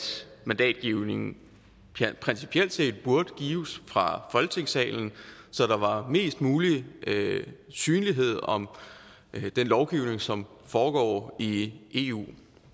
mandatgivningen principielt set burde gives fra folketingssalen så der var mest mulig synlighed om den lovgivning som foregår i eu